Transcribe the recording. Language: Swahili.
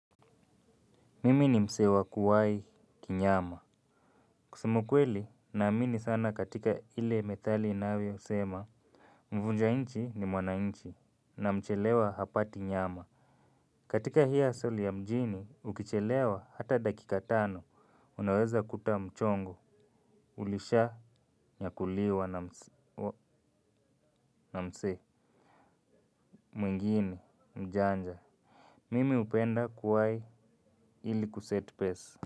Mimi ni mse wa kuwai kinyama. Kusema ukweli naamini sana katika ile methali inavyosema. Mvunja inchi ni mwanainchi na mchelewa hapati nyama. Katika hii husle ya mjini ukichelewa hata dakika tano unaweza kuta mchongo. Ulishanyakuliwa na mse mwingine mjanja. Mimi upenda kuwai ili kuset pace.